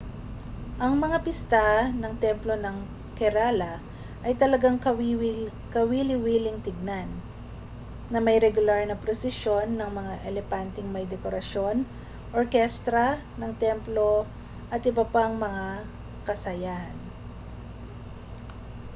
ang mga pista ng templo ng kerala ay talagang kawili-wiling tingnan na may regular na prusisyon ng mga elepanteng may dekorasyon orkestra ng templo at iba pang mga kasayahan